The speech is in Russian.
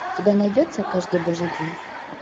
у тебя найдется каждый божий день